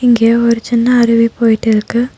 இங்க ஒரு சின்ன அருவி போயிட்டு இருக்கு.